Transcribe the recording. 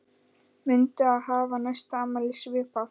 Muntu hafa næsta afmæli svipað?